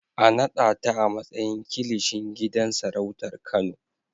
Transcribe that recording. A naɗa ta a matsayin Kilishin gidan sarautar Kano!